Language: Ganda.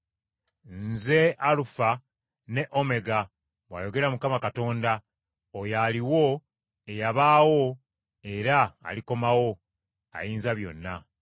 “Nze Alufa ne Omega,” bw’ayogera Mukama Katonda, “oyo aliwo, eyabaawo era alikomawo, Ayinzabyonna.”